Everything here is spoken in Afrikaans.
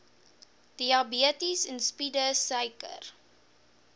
diabetes insipidus suiker